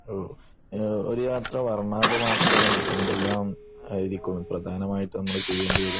ഒരു യാത്ര വര്ണാഭമാക്കാൻ എന്തെല്ലാമായിരിക്കും നമ്മൾ പ്രധാനമായും ചെയ്യേണ്ടി വരിക